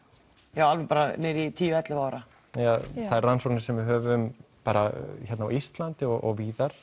já alveg niður í tíu til ellefu ára já þær rannsóknir sem við höfum bara hérna á Íslandi og víðar